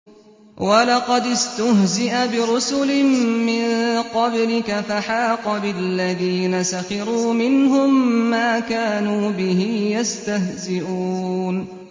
وَلَقَدِ اسْتُهْزِئَ بِرُسُلٍ مِّن قَبْلِكَ فَحَاقَ بِالَّذِينَ سَخِرُوا مِنْهُم مَّا كَانُوا بِهِ يَسْتَهْزِئُونَ